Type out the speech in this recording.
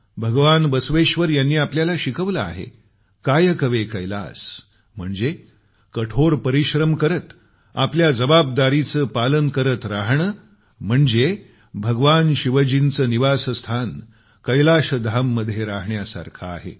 भगवान बसवेश्वर यांनी आपल्याला शिकवलं आहे कायकवे कैलास म्हणजे कठोर परिश्रम करत आपल्या जबाबदारीचे पालन करत राहणं म्हणजे भगवान शिवजींचे निवासस्थान कैलाशधाम मध्ये राहण्यासारखे आहे